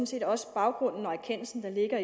set også baggrunden og erkendelsen der ligger